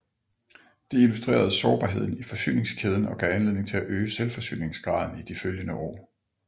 Det illustrerede sårbarheden i forsyningskæden og gav anledning til at øge selvforsyningsgraden i de følgende år